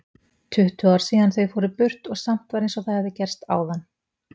Tuttugu ár síðan þau fóru burt og samt var einsog það hefði gerst áðan.